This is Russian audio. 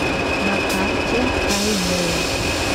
на карте хайвей